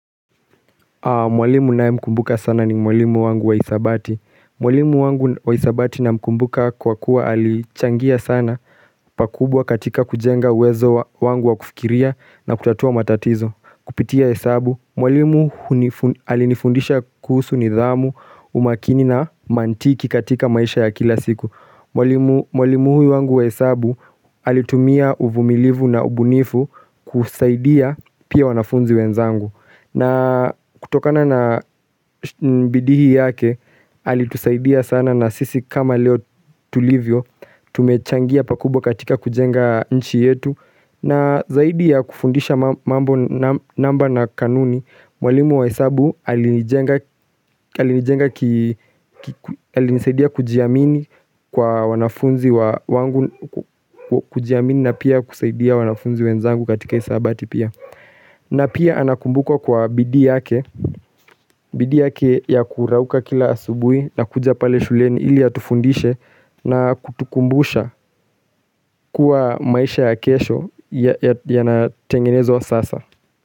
Mwalimu ninayemkumbuka sana ni mwalimu wangu wa hisabati. Mwalimu wangu wa hisabati namkumbuka kwa kuwa alichangia sana pakubwa katika kujenga uwezo wangu wa kufikiria na kutatua matatizo. Kupitia hesabu, mwalimu alinifundisha kuhusu nidhamu umakini na mantiki katika maisha ya kila siku Mwalimu huyu wangu hesabu alitumia uvumilivu na ubunifu kusaidia pia wanafunzi wenzangu. Na kutokana na bidii yake alitusaidia sana na sisi kama leo tulivyo tumechangia pakubwa katika kujenga nchi yetu na zaidi ya kufundisha mambo namba na kanuni, Mwalimu wa hesabu alinijenga alinijenga alinisaidia kujiamini kwa wanafunzi wangu kujiamini na pia kusaidia wanafunzi wenzangu katika hisabati pia na pia anakumbukwa kwa bidii yake bidii yake ya kurauka kila asubui na kuja pale shuleni ili atufundishe na kutukumbusha kuwa maisha ya kesho yanatengenezwa sasa.